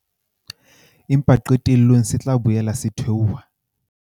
Empa qetellong se tla boela se theoha.